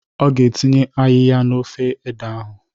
Ọ ga-etinye ayịya n'ofe ede ahụ